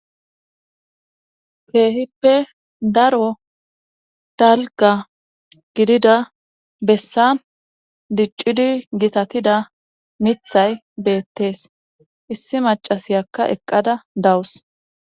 Keehippe daro talga gidida bessa diccidi gitatida mithay beettees issi macasiyakka eqqada dawus.